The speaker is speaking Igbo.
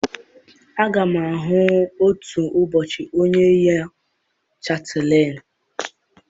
Aga m ahụ otu ụbọchị onye yi chatịlen.